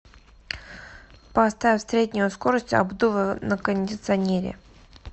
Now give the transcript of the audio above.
поставь среднюю скорость обдува на кондиционере